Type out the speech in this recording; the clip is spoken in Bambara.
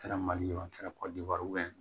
Kɛra mali ye a kɛra kɔdiwari ye